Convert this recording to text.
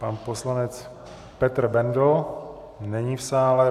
Pan poslanec Petr Bendl - není v sále.